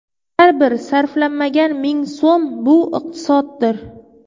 Har bir sarflanmagan ming so‘m – bu iqtisoddir.